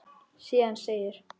Síðan segir: